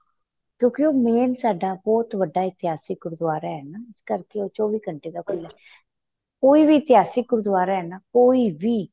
ਕਿਉਂਕਿ ਉਹ main ਸਾਡਾ ਬਹੁਤ ਵੱਡਾ ਇਤਿਹਾਸਕ ਗੁਰੂਦੁਆਰਾ ਏ ਨਾ ਇਸ ਕਰਕੇ ਉਹ ਚੋਵੀਂ ਘੰਟੇ ਦਾ ਉਹ ਖੁੱਲਾ ਏ ਕੋਈ ਇਤਿਹਾਸਕ਼ ਗੁਗੂਦੁਆਰਾ ਨਾ ਕੋਈ ਵੀ